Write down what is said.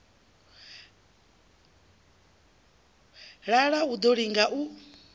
lala u ḓo liga u